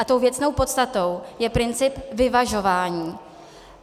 A tou věcnou podstatou je princip vyvažování.